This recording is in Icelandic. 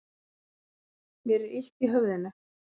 Mér er illt í höfðinu.